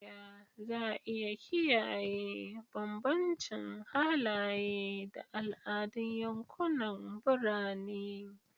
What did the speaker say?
Ta yaya za a iya kiyaye bambancin halaye da al'adun yankunan birane?